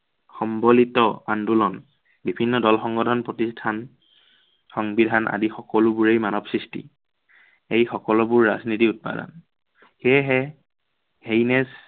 সম্বলিত আন্দোলন। বিভিন্ন দল, সংগঠন, প্ৰতিষ্ঠান সংবিধান আদি সকলোবোৰেই মানৱ সৃষ্টি। সেই সকলোবোৰ ৰাজনীতিৰ ৰাজনীতিৰ উপাদান। সেয়েহে